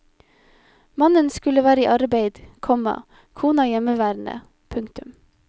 Mannen skulle være i arbeid, komma kona hjemmeværende. punktum